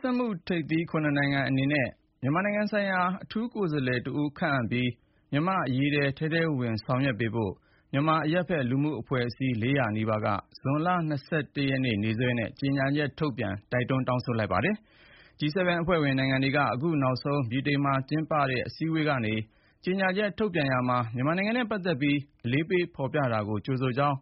စက်မှုထိပ်သီး ၇ နိုင်ငံ အနေနဲ့ မြန်မာနိုင်ငံ ဆိုင်ရာ အထူးကိုယ်စားလှယ် တဦးခန့်အပ်ပြီး မြန်မာ့အရေး ထဲထဲဝင်ဝင် ဆောင်ရွက်ပေးဖို့ မြန်မာအရပ်ဘက် လူထုအဖွဲ့အစည်း ၄၀၀ နီးပါးက ဇွန်လ ၂၁ ရက်နေ့ နေ့စွဲနဲ့ ကြေညာချက် ထုတ်ပြန် တောင်းဆိုလိုက်ပါတယ်။ G7 အဖွဲ့ဝင် နိုင်ငံတွေက အခု နောက်ဆုံးဗြိတိန်မှာ ကျင်းပတဲ့အစည်းအဝေးကနေ ကြေညာချက်ထုတ်ပြန်ရာမှာ မြန်မာနိုင်ငံနဲ့ ပတ်သက်ပြီး အလေးပေးဖေါ်ပြတာကို ကြိုဆိုကြောင်း